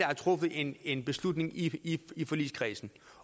truffet en en beslutning i i forligskredsen